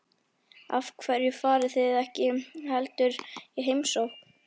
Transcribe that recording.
Af hverju farið þið ekki heldur í heimsókn?